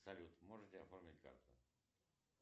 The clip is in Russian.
салют можете оформить карту